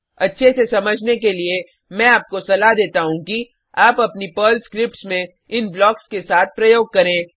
अच्छे से समझने के लिए मैं आपको सलाह देता हूँ कि आप अपनी पर्ल स्क्रिप्ट्स में इन ब्लॉक्स के साथ प्रयोग करें